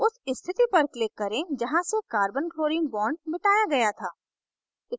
उस स्थिति पर click करें जहाँ से carbonchlorine bond मिटाया गया था